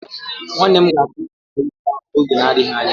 Nwanne m ga-akụ mkpụrụ moringa ahụ n'oge na-adịghị anya.